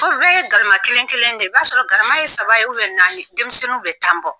bɛɛ ye galama kelen kelen de ye, i b'a sɔrɔ galama ye saba ye naani denmisɛnnu bɛ tan bɔ